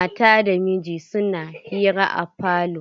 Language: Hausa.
Mata da miji suna hira a falo.